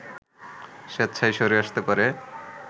স্বেচ্ছায় সরে আসতে পারে